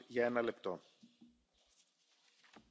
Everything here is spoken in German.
Herr Präsident, liebe Kolleginnen und Kollegen!